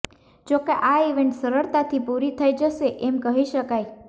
જોકે આ ઇવેન્ટ સરળતાથી પૂરી થઈ જશે એમ કહી શકાય